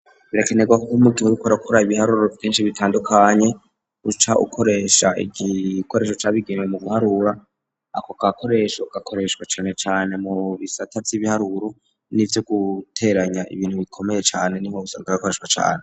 Birakenerwako umutwe uriko urakora ibiharuro vyinshi bitandukanye uca ukoresha igikoresho ca bigenewe mu guharura, ako gakoresho gakoreshwa canecane mu bisata vy'ibiharuro n'ivyo guteranya ibintu bikomeye cane niho usanga gakoreshwa cane.